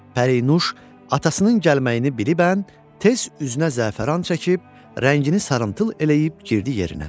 Pərinuş atasının gəlməyini bilibən tez üzünə zəfəran çəkib, rəngini sarımtıl eləyib girdi yerinə.